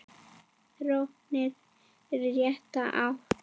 Þróunin er í rétta átt.